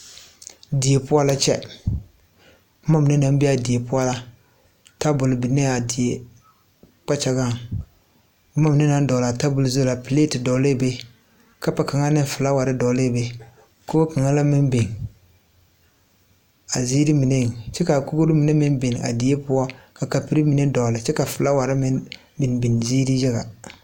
Die poɔ la kyɛ bomma mine naŋ bee aa die poɔ la tabol binee a die kpakyagaŋ bomma mine naŋ dɔglaa tabol zu la plete dɔglɛɛ be kapu kaŋa neŋ flaawarre dɔglɛɛ be koge kaŋa la meŋ biŋ a ziire mineŋ kyɛ kaa kogro mine meŋ bin a die poɔ ka kapurre mine dɔɔle kyɛ ka flaawarre meŋ biŋ biŋ ziire yaga.